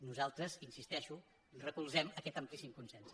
nosaltres hi insisteixo recolzem aquest amplíssim consens